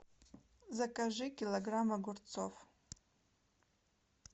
закажи килограмм огурцов